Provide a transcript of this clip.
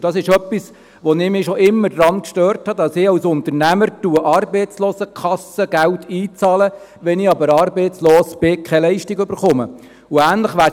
Dies ist etwas, woran ich mich schon immer gestört habe, dass ich als Unternehmer Arbeitslosenkassengeld einbezahle, aber keine Leistung erhalte, wenn ich arbeitslos werde.